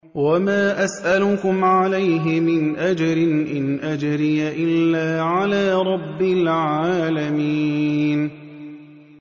وَمَا أَسْأَلُكُمْ عَلَيْهِ مِنْ أَجْرٍ ۖ إِنْ أَجْرِيَ إِلَّا عَلَىٰ رَبِّ الْعَالَمِينَ